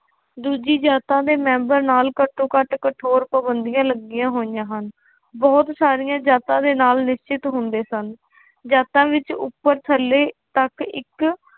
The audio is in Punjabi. ਦੂਜੀ ਜਾਤਾਂ ਦੇ ਮੈਂਬਰ ਨਾਲ ਘੱਟੋ ਘੱਟ ਕਠੋਰ ਪਾਬੰਦੀਆਂ ਲੱਗੀਆਂ ਹੋਈਆਂ ਹਨ, ਬਹੁਤ ਸਾਰੀਆਂ ਜਾਤਾਂ ਦੇ ਨਾਲ ਨਿਸ਼ਚਿਤ ਹੁੰਦੇ ਸਨ, ਜਾਤਾਂ ਵਿੱਚ ਉੱਪਰ ਥੱਲੇ ਤੱਕ ਇੱਕ